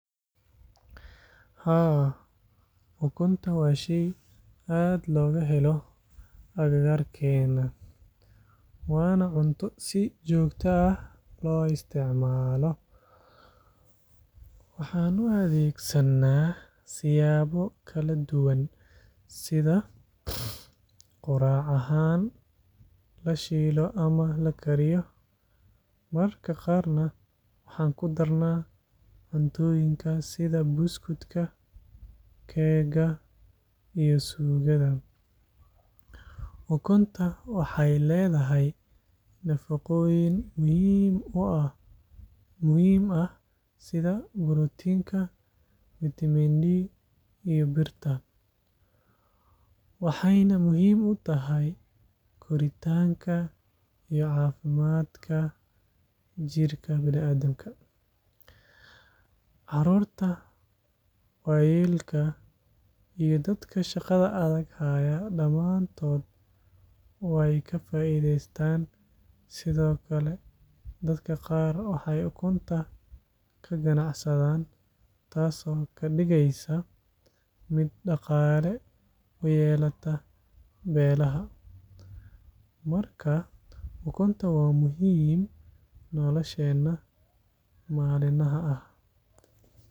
Haa, ukunta waa shay aad looga helo agagaaggeenna waana cunto si joogto ah loo isticmaalo. Waxaan u adeegsanaa siyaabo kala duwan sida quraac ahaan la shiilo ama la kariyo, mararka qaarna waxaan ku darnaa cuntooyinka sida buskudka, keega iyo suugada. Ukunta waxay leedahay nafaqooyin muhiim ah sida borotiinka, fiitamiin D iyo birta, waxayna muhiim u tahay koritaanka iyo caafimaadka jirka. Carruurta, waayeelka iyo dadka shaqada adag haya dhammaantood way ka faa’iidaystaan. Sidoo kale, dadka qaar waxay ukunta ka ganacsadaan, taas oo ka dhigeysa mid dhaqaale u yeelata beelaha. Marka ukunta waa muhiim nolosheenna maalinlaha ah.